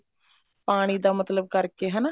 ਪਾਣੀ ਦਾ ਮਤਲਬ ਕਰਕੇ ਹਨਾ